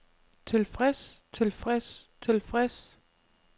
tilfreds tilfreds tilfreds